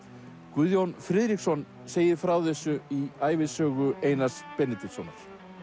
Guðjón Friðriksson segir frá þessu í ævisögu Einar Benediktssonar